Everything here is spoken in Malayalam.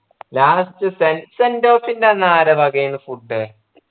last സെ sent off ൻ്റെ അന്ന് ആര വകയായിരുന്നു food